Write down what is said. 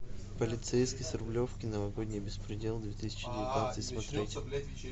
полицейский с рублевки новогодний беспредел две тысячи девятнадцать смотреть